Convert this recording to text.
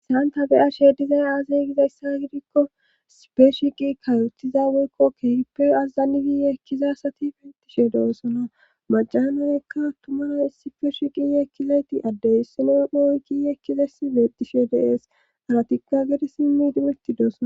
saanta beyashe dizay aazeygizayssa gidikko sipeshi qi kayothiza woykko kehippe azazali giye kizasati beettishe doossona majanoekka tumara issi feeshi qiye kkizayti addeyssoloy hooy kiyekizes beetishe deees aratikka gedesimmi dimeti doosona